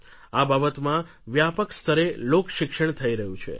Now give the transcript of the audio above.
આ બાબતમાં વ્યાપક સ્તરે લોકશિક્ષણ થઈ રહ્યું છે